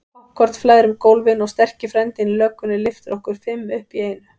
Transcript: Poppkorn flæðir um gólfin og sterki frændinn í löggunni lyftir okkur fimm upp í einu.